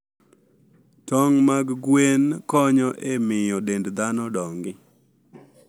Tong' mag gwen konyo e miyo dend dhano odongi.